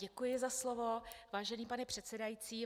Děkuji za slovo, vážený pane předsedající.